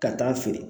Ka taa feere